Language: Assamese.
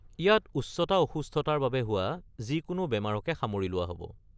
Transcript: ইয়াত উচ্চতা অসুস্থতাৰ বাবে হোৱা যিকোনো বেমাৰকে সামৰি লোৱা হ’ব।